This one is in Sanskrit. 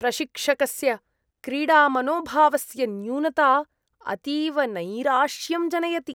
प्रशिक्षकस्य क्रीडामनोभावस्य न्यूनता अतीव नैराश्यं जनयति।